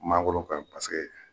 Mangoro ka ɲi paseke